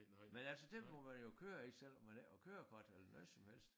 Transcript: Men altså den må man jo køre i selvom man ikke har kørekort eller noget som helst